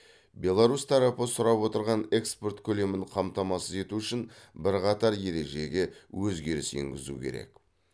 беларусь тарапы сұрап отырған экспорт көлемін қамтамасыз ету үшін бірқатар ережеге өзгеріс енгізу керек